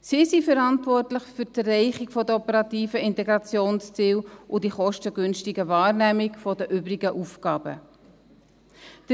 Sie sind für die Erreichung der operativen Integrationsziele und die kostengünstige Wahrnehmung der übrigen Aufgaben verantwortlich.